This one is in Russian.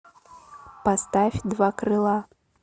поставь два крыла